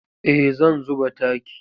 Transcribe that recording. Eh zan zuba taki.